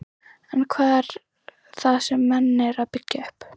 En hvað er það sem menn eru að byggja upp?